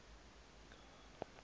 khala